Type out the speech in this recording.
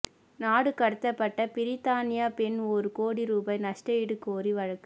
நாடுகடத்தப்பட்ட பிரித்தானிய பெண் ஒரு கோடி ரூபாய் நஷ்டஈடு கோரி வழக்கு